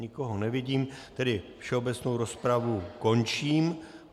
Nikoho nevidím, tedy všeobecnou rozpravu končím.